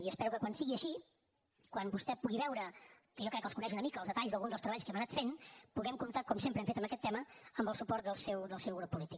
i espero que quan sigui així quan vostè pugui veure que jo crec que els coneix una mica els detalls d’alguns dels treballs que hem anat fent puguem comptar com sempre hem fet en aquest tema amb el suport del seu grup polític